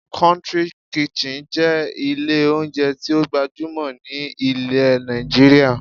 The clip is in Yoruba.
"Country kitchen" jé ilé oúnjẹ tí ó gbajúmọ̀ ní ilẹ̀ Nàìjíríà